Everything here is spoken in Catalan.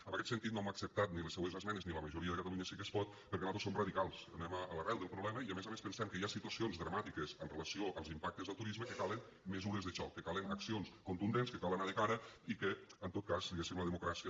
en aquest sentit no hem acceptat ni les seues esmenes ni la majoria de les de catalunya sí que es pot perquè nosaltres som radicals anem a l’arrel del problema i a més a més pensem que hi ha situacions dramàtiques amb relació als impactes del turisme que calen mesures de xoc que calen accions contundents que cal anar de cara i que en tot cas diguéssim la democràcia